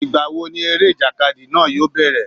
Ìgbà wo ni eré ìjàkadì náà yóò bẹ̀rẹ̀?